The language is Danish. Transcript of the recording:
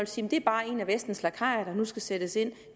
sige det er bare en af vestens lakajer der nu skal sættes ind